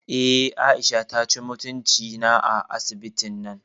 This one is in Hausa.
Eh, Aisha taci mutunci na a asibitin nan